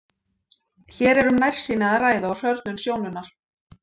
Hér er um nærsýni að ræða og hrörnun sjónunnar.